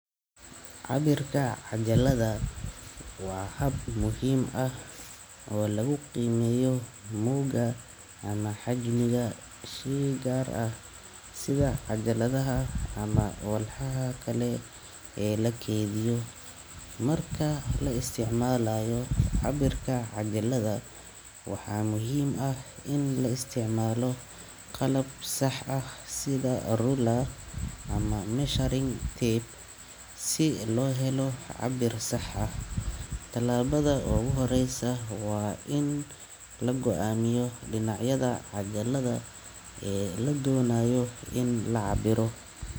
Cabbir kaa ah cajaladaa. Waa hab muhiim ah oo lagu qiimeeyo moogga ama xajmiga si gaar ah sida cajaladaha ama walxaha kale ee la keydiyo Markaa la isticmaalayo cabbirka cajalada waxaa muhiim ah in la isticmaalo qalab sax ah sida ruler ama measuring tape. Si loo helo cabir sax ah. Tallaabada oo u horreysa waa in lago amiyo denacyada cajaladaa ladonayo in lacabiro.